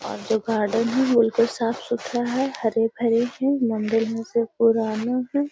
और जो गार्डन है वो बिल्कुल साफ-सुथरा हैं। हरे-भरे है। मंदिर मे से पुराने है।